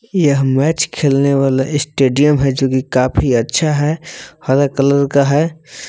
यह मैच खेलने वाला ये स्टेडियम है जो की काफी अच्छा है हरा कलर का है।